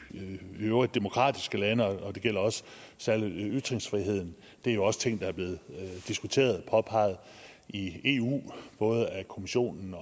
øvrige demokratiske lande og det gælder også særlig ytringsfriheden det er også ting der er blevet diskuteret og påpeget i eu både af kommissionen